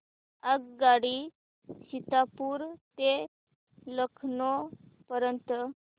आगगाडी सीतापुर ते लखनौ पर्यंत